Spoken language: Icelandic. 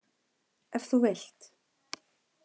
Ef þú vilt.